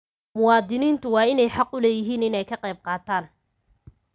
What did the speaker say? Muwaadiniintu waa inay xaq u leeyihiin inay ka qaybqaataan.